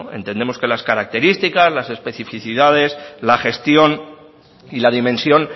entendemos que las características las especificidades la gestión y la dimensión